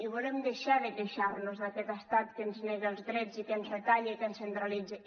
i volem deixar de queixar nos d’aquest estat que ens nega els drets i que ens retalla i que ens centralitza